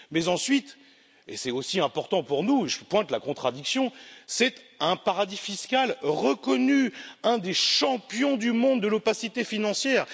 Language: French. Ensuite, et c'est aussi important pour nous, je pointe la contradiction c'est un paradis fiscal reconnu, un des champions du monde de l'opacité financière.